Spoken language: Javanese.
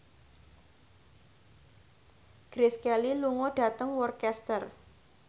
Grace Kelly lunga dhateng Worcester